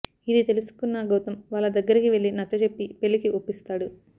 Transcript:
ఇది తెలుసుకున్న గౌతం వాళ్ళ దగ్గరికి వెళ్ళి నచ్చజెప్పి పెళ్ళికి ఒప్పిస్తాడు